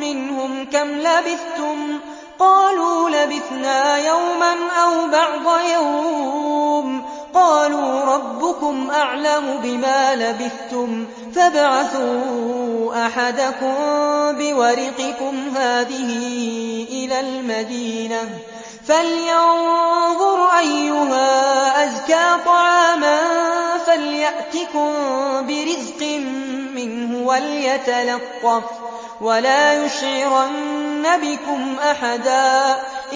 مِّنْهُمْ كَمْ لَبِثْتُمْ ۖ قَالُوا لَبِثْنَا يَوْمًا أَوْ بَعْضَ يَوْمٍ ۚ قَالُوا رَبُّكُمْ أَعْلَمُ بِمَا لَبِثْتُمْ فَابْعَثُوا أَحَدَكُم بِوَرِقِكُمْ هَٰذِهِ إِلَى الْمَدِينَةِ فَلْيَنظُرْ أَيُّهَا أَزْكَىٰ طَعَامًا فَلْيَأْتِكُم بِرِزْقٍ مِّنْهُ وَلْيَتَلَطَّفْ وَلَا يُشْعِرَنَّ بِكُمْ أَحَدًا